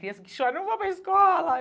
Criança que chora, não vou para a escola.